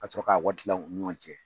Ka sɔrɔ ka wari kila u ni ɲɔgɔn cɛ